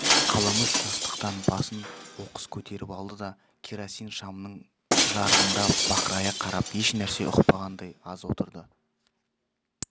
қаламүш жастықтан басын оқыс көтеріп алды да керосин шамның жарығына бақырая қарап еш нәрсе ұқпағандай аз отырды